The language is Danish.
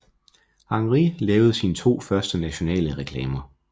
Henrie lavede sine to første nationale reklamer